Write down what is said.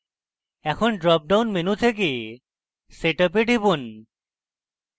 এখন drop down menu থেকে setup এ টিপুন